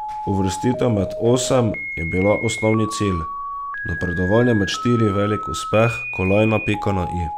Uvrstitev med osem je bila osnovni cilj, napredovanje med štiri velik uspeh, kolajna pika na i.